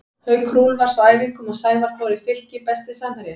Haukur Úlfars á æfingum og Sævar Þór í Fylki Besti samherjinn?